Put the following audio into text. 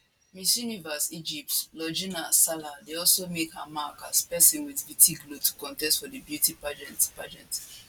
miss universe egypt logina salah dey also make her mark as a pesin with vitiligo to contest for di beauty pageant pageant